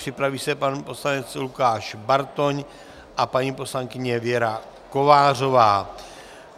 Připraví se pan poslanec Lukáš Bartoň a paní poslankyně Věra Kovářová.